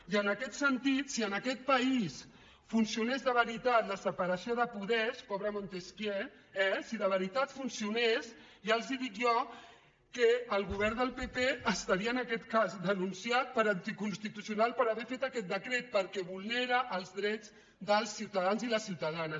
i en aquest sentit si en aquest país funcionés de veritat la separació de poders pobre montesquieu eh si de veritat funcionés ja els dic jo que el govern del pp estaria en aquest cas denunciat per anticonstitucional per haver fet aquest decret perquè vulnera els drets dels ciutadans i les ciutadanes